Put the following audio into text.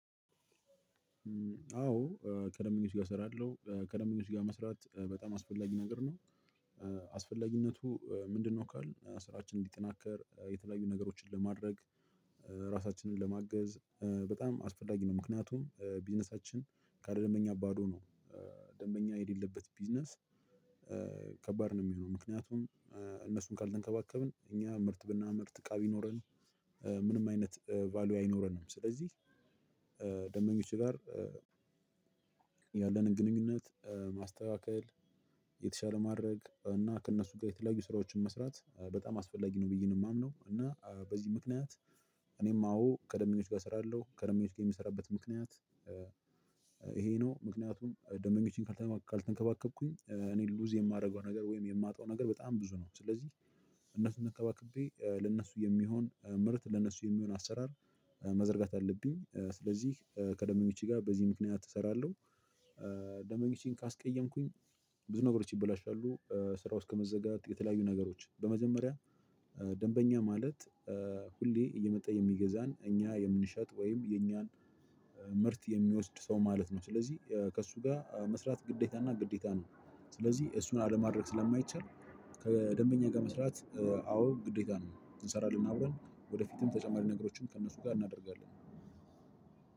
አዎ ከደምበኞች ጋር እሰራለሁ ከደምበኞች ጋር መስራት በጣም አስፈላጊ ነገር ነው። አስፈላጊነቱ ምንድነው ካልን ስራችን እንዲጠናከር የተለያዩ ነገሮችን ለማድረግ ራሳችንን ለማገዝ በጣም አስፈላጊ ነው። ምክንያቱም ቢዝነሳችን ካለደንበኛ ባዶ ነው። ደንበኛ የሌለበት ቢዝነስ ከባድ ነው የሚሆነው። ምክንያቱም እነሱን ካልተንከባከብን እኛ ምርት ብናመር እቃ ቢኖረን ምንም አይነት ቫልዩ አይኖረንም። ስለዚህ ደንበኞች ጋር ያለንን ግንኙነት ማስተካከል የተሻለ ማድረግ እና ከእነሱ ጋር የተለያዩ ስራዎችን መስራት በጣም አስፈላጊ ነው። ብዬ ነው የማምነው። እና በዚህ ምክንያት እኔም አዎ ከደንበኞች ጋር እስራለሁ ከደንበኞች ጋር የምሰራበት ምክንያት ይሄ ነው። ምክንያቱም ደንበኞችን ካልተንከባከብኩኝ እኔ ሉዝ የማደርገው ነገር ወይም የማጣው ነገር በጣም ብዙ ነው። ስለዚህ እነሱን ተንከባክቤ ለእነሱ የሚሆን ምርት ለእነሱ የሚሆን አሰራር መዘርጋት አለብኝ። ስለዚህ ከደንበኞቼ ጋር በዚህ ምክንያት እሰራለሁ። ደንበኞቼን ካስቀየምኩኝ ብዙ ነገሮች ይበላሻሉ። ስራው እስከ መዘጋጥ የተለያዩ ነገሮች በመጀመሪያ ደንበኛ ማለት ሁሌ እየመጣ የሚገዛን እኛ የምንሸጥ ወይም የእኛን ምርት የሚወስድ ሰው ማለት ነው። ስለዚህ ከእሱ ጋር መስራት ግዴታና ግዴታ ነው። ስለዚህ እሱን አለማድረግ ስለማይቻል ከደንበኛ ጋር መስራት አዎ ግዴታ ነው። እንሰራለን አብረን ወደፊትም ተጨማሪ ነገሮችን ከእነሱ ጋር እናደርጋለን።